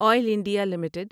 oil India limited